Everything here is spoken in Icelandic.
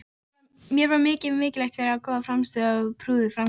Mér var mikið hælt fyrir góða frammistöðu og prúða framkomu.